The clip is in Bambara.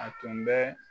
A tun bɛ